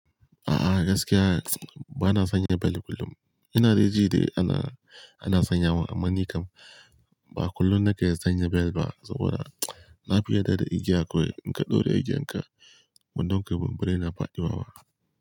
A'a gaskiya bana sanya bel kullum. Ina dai ji da ana, ana sanyawa amma ni kam ba kullum nake sanya bel ba saboda na fi yarda da igiya kawai. In ka ɗora igiyan ka, ban don kai bumbare na faɗi wawa.